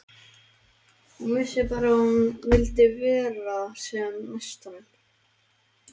Hún vissi bara að hún vildi vera sem næst honum.